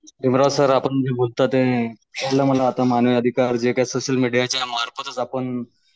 देवराज sir आपण ते मनातून मानव अधिका जे काही सोशल मीडियाचे मार्फतच आपण